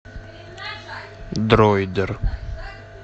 дроидер